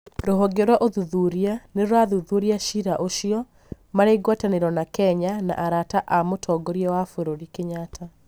rũhonge rwa ũthuthuria nĩrũrathuthuria cira ũcio, marĩ ngwataniro na Kenya na arata a mũtongoria wa bũrũri Kenyatta